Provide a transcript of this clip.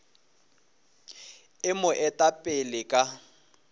e mo eta pele ka